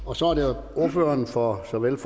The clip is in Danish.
og så er det ordføreren for såvel